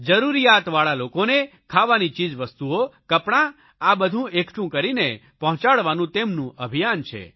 જરૂરિયાતવાળા લોકોને ખાવાની ચીજવસ્તુઓ કપડા આ બધું એકઠું કરીને પહોંચાડવાનું તેમનું અભિયાન છે